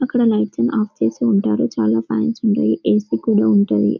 అక్కడ లైట్స్ అన్ని ఆఫ్ చేసి ఉంటారు చాలా ఫ్యాన్స్ ఉంటాయి ఏ.సి కూడా ఉంటుంద.